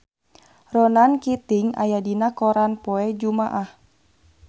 Ronan Keating aya dina koran poe Jumaah